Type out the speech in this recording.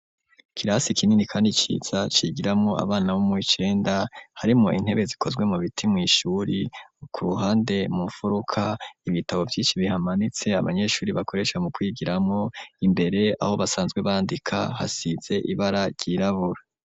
Ikirasi kinini kandi ciza, cigiramwo abana bo mu w'icenda, harimwo intebe zikozwe mu biti mw'ishuri; ku ruhande mu furuka, ibitabo vyinshi bihamanitse, abanyeshuri bakoresha mu kwigiramwo; imbere aho basanzwe bandika, hasize ibara ryirabura.